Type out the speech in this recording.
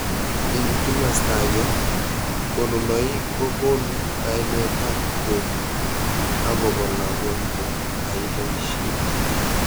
Ing kimasta akei konunoik ko konu kainet ap kei akopo lagok ko ai poishet.